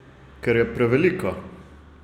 Ker je prevelika.